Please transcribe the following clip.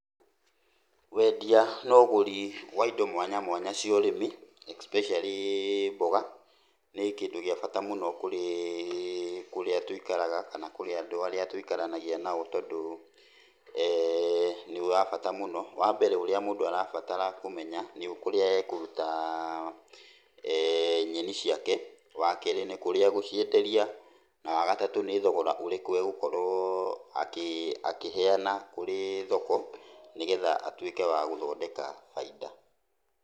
Wendia na ũgũri wa indo mwanya mwanya cia ũrĩmi, especially mboga, nĩ kindũ gĩa bata mũno kurĩ kũria tũikaraga, kana kũrĩ andũ arĩa tũikaranagia nao, tondũ, nĩ wa bata mũno, wa mbere ũrĩa mũndũ arabatara kũmenya nĩ kũrĩa ekũruta nyeni ciake, wa kerĩ nĩ kũrĩa egũcienderia, na wa gatatũ nĩ thogora ũrĩkũ egũkorwo akĩheana kũrĩ thoko, nĩgetha atuĩke wa gũthondeka bainda.